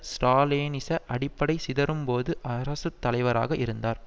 ஸ்ராலினிச அடிப்படை சிதறும்போது அரசு தலைவராக இருந்தார்